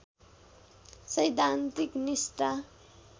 सैद्धान्तिक निष्ठा